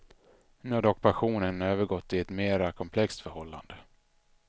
Nu har dock passionen övergått i ett mera komplext förhållande.